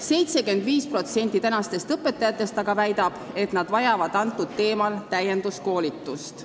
75% õpetajatest aga väidab, et nad vajavad sel teemal täienduskoolitust.